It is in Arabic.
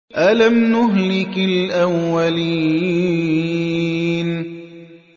أَلَمْ نُهْلِكِ الْأَوَّلِينَ